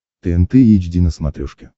тнт эйч ди на смотрешке